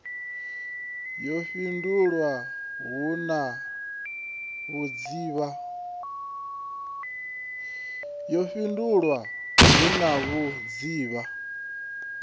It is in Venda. yo fhindulwa hu na vhudzivha